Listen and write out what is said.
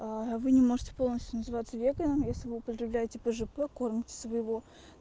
вы не можете полностью называться веганом если вы употребляете пжп кормите своего